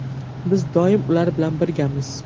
Biz doim ular bilan birgamiz.